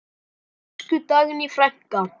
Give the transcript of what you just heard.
Elsku Dagný frænka.